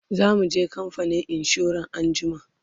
zamuje kamfanin insura anjima